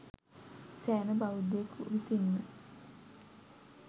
සෑම බෞද්ධයෙකු විසින්ම